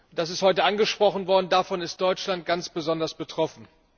Das ist heute angesprochen worden, davon ist Deutschland ganz besonders betroffen.